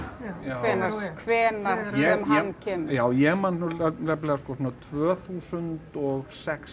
hvenær hvenær sem hann kemur já ég man nefnilega sko svona tvö þúsund og sex